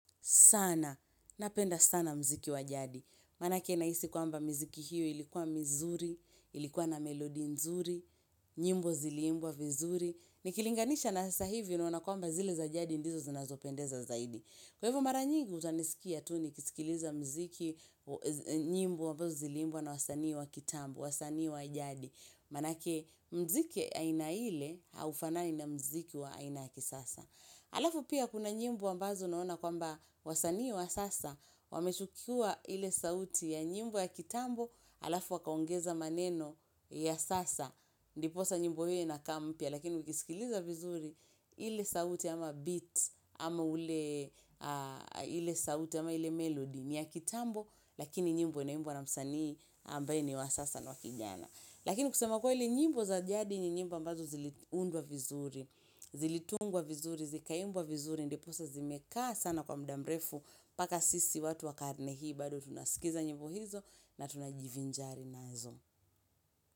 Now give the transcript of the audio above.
Sana, napenda sana mziki wa jadi. Maanake naisi kwamba mziki hiyo ilikuwa mizuri, ilikuwa na melodi nzuri, nyimbo ziliimbwa vizuri. Nikilinganisha na sasa hivi naona kwamba zile za jadi ndizo zinazopendeza zaidi. Kwa hivyo mara nyingi utanisikia tu ni kisikiliza mziki nyimbo ambazo zilimbwa na wasani wa kitambo, wasani wa jadi. Manake mziki aina ile haufana ina mziki wa aina ya kisasa. Alafu pia kuna nyimbo ambazo naona kwamba wasanii wa sasa, wamechukua ile sauti ya nyimbo ya kitambo, alafu wakaongeza maneno ya sasa, ndiposa nyimbo hiyo inakaa mpya, lakini wikisikiliza vizuri ile sauti ama beat, ama ule, ile sauti ama ile melody ni ya kitambo, lakini nyimbo inaimbwa na msanii ambaye ni wasasa na wakijana. Lakini kusema kwa hili nyimbo za jadi nyimbo ambazo ziliundwa vizuri, zilitungwa vizuri, zikaimbwa vizuri, ndiposa zimekaa sana kwa mdamrefu, paka sisi watu wakarne hii, bado tunasikiza nyimbo hizo na tunajivinjari nazo.